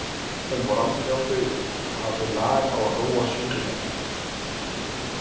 Hún fór aldrei á taugum og hafði lag á að róa sjúklingana.